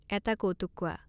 এটা কৌতুক কোৱা